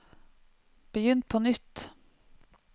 begynn på nytt